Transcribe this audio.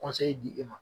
di e ma